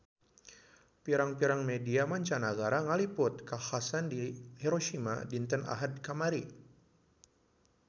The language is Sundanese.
Pirang-pirang media mancanagara ngaliput kakhasan di Hiroshima dinten Ahad kamari